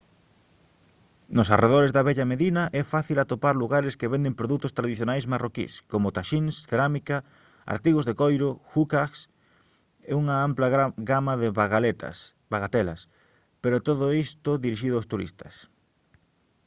nos arredores da vella medina é fácil atopar lugares que venden produtos tradicionais marroquís como taxíns cerámica artigos de coiro «hookahs» e unha ampla gama de bagatelas pero todo isto dirixido aos turistas